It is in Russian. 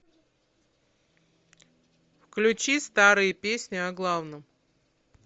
включи старые песни о главном